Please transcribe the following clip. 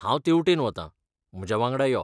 हांव तेवटेन वता, म्हज्या वांगडा यो.